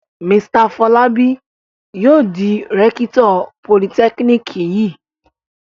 Mr Fọlábí yóò di rẹ́kítọ̀ politẹ́kíníkì yìí.